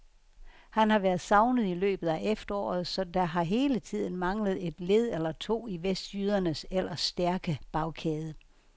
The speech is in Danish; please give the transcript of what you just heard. Han har været savnet i løbet af efteråret, så der har hele tiden manglet et led eller to i vestjydernes ellers stærke bagkæde.